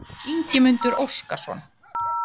Ingimundur Óskarsson